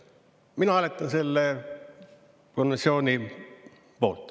Mina hääletan selle konventsiooni poolt.